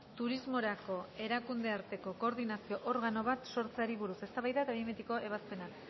turismorako erakundearteko koordinazio organo bat sortzeari buruz eztabaida eta behin betiko ebazpena